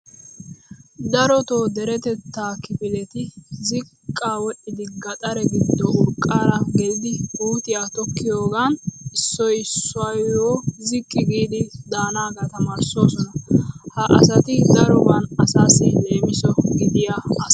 Darotoo deretettaa kifileti ziqqa wodhidi gaxare giddo urqqaara gelidi puutiya tokkiyoogan issoy issuwaayyo ziqqi giidi daanaaga tamaarissoosona. Ha asati daroban asaassi leemiso gidiya asa.